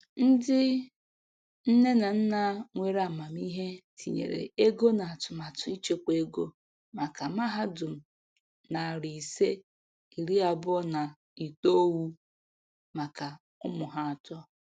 Ndi nne na nna nwere amamihe tinyere ego na atụmatụ ịchekwa ego maka mahadum nari ise iri abuo na itoou maka ụmụ ha atọ.